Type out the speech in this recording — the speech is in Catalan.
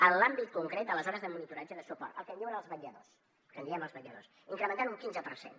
en l’àmbit concret de les hores de monitoratge de suport el que en diuen els vetlladors que en diem els vetlladors incrementant les un quinze per cent